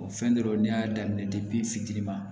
O fɛn dɔrɔn ne y'a daminɛ fitiinin ma